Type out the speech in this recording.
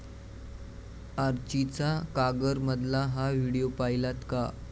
आर्चीचा 'कागर'मधला हा व्हिडिओ पाहिलात का?